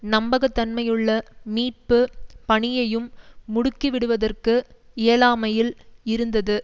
நம்பகத்தன்மையுள்ள மீட்பு பணியையும் முடுக்கிவிடுவதற்கு இயலாமையில் இருந்தது